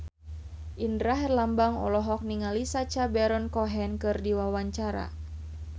Indra Herlambang olohok ningali Sacha Baron Cohen keur diwawancara